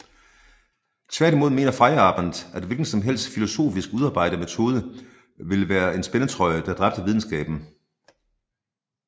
Tværtimod mener Feyerabend at en hvilken som helst filosofisk udarbejde metode ville være en spændetrøje der dræbte videnskaben